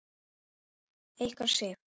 Ykkar, Sif.